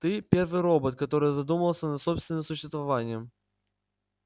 ты первый робот который задумался над собственным существованием